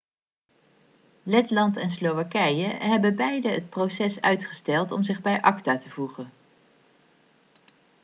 letland en slowakije hebben beide het proces uitgesteld om zich bij acta te voegen